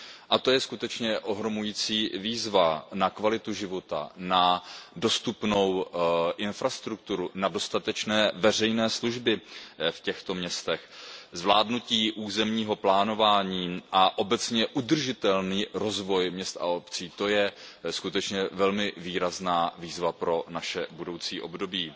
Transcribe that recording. A to je skutečně ohromující výzva pro kvalitu života, dostupnou infrastrukturu, dostatečné veřejné služby v těchto městech, zvládnutí územního plánování a obecně udržitelný rozvoj měst a obcí. To je skutečně velmi výrazná výzva pro naše budoucí období.